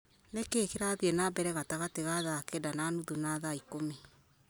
nĩ kĩĩ kĩrathiĩ na mbere gatagatĩ ga thaa kenda na nuthu na thaa ikũmi